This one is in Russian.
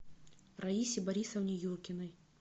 раисе борисовне юркиной